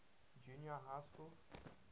junior high schools